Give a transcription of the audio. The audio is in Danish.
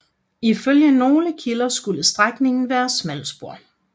Ifølge nogle kilder skulle strækningen være smalspor